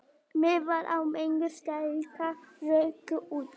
Miðar á minningartónleika ruku út